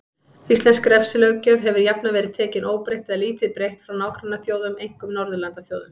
Íslensk refsilöggjöf hefur jafnan verið tekin óbreytt eða lítið breytt frá nágrannaþjóðum, einkum Norðurlandaþjóðum.